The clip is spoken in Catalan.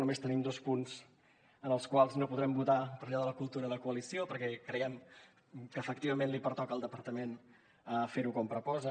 només tenim dos punts en els quals no hi podrem votar per allò de la cultura de coalició perquè creiem que efectivament li pertoca al departament fer ho com proposa